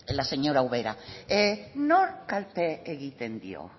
la señora ubera nori kalte egiten dio